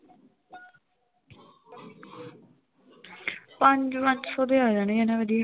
ਪੰਜ ਪੰਜ ਸੌ ਦੇ ਆ ਜਾਣੇ ਹੈ ਨਵਦੀਪ।